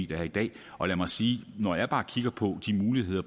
der er i dag og lad mig sige at når jeg bare kigger på de muligheder